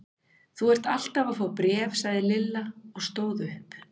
Þú ert alltaf að fá bréf sagði Lilla og stóð upp.